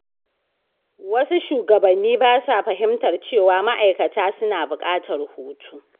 Wasu shugabanni ba sa fahimtar cewa ma’aikata suna buƙatar hutu.